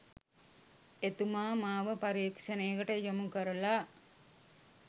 එතුමා මාව පරීක්ෂණයකට යොමු කරලා